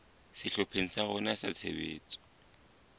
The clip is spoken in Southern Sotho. sehlopheng sa rona sa tshebetso